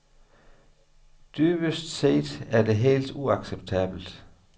Dybest set er det helt uacceptabelt.